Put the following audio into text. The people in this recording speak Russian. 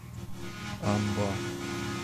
аба